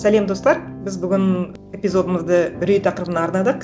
сәлем достар біз бүгін эпизодымызды үрей тақырыбына арнадық